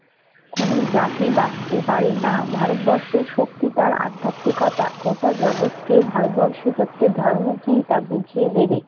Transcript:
কোন জাতি বাঁচতে পারে না। ভারতবর্ষের শক্তি তাই আধ্যাত্মিকতা। গোটা জগৎকে ভারতবর্ষ প্রত্যেক ধর্ম কি তা বুঝিয়ে দেবে।